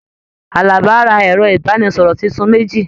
Àlàbá rà ẹrọ ibaraẹnisọrọ títún méjì.